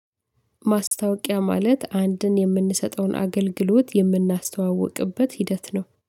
ማስታወቂያ ማለት አንድን የምንሰጠውን አገልግሎት የምናስተዋውቅበት ሂደት ነው።